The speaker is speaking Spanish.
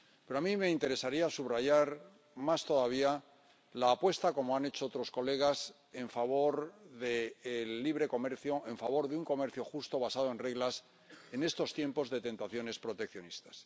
Pero a mí me interesaría subrayar más todavía la apuesta, como han hecho otros colegas, en favor del libre comercio, en favor de un comercio justo basado en reglas, en estos tiempos de tentaciones proteccionistas.